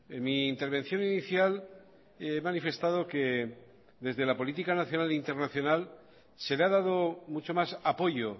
en mi intervención inicial he manifestado que desde la política nacional internacional se le ha dado mucho más apoyo